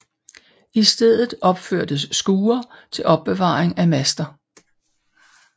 I stedet opførtes skure til opbevaring af master